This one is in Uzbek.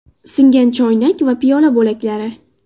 Singan choynak va piyola bo‘laklari.